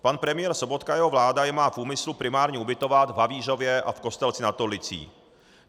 Pan premiér Sobotka a jeho vláda je má v úmyslu primárně ubytovat v Havířově a v Kostelci nad Orlicí.